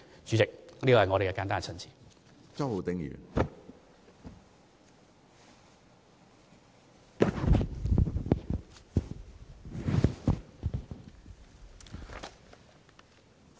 主席，這是我的簡單陳辭。